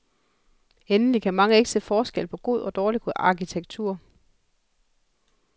Endelig kan mange ikke se forskel på god og dårlig arkitektur.